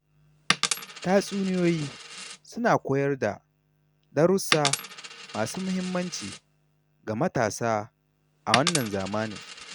Tatsuniyoyi suna koyar da darussa masu mahimmanci ga matasa a wannan zamanin.